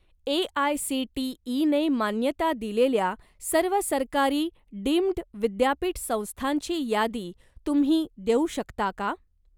ए.आय.सी.टी.ई.ने मान्यता दिलेल्या सर्व सरकारी डीम्ड विद्यापीठ संस्थांची यादी तुम्ही देऊ शकता का?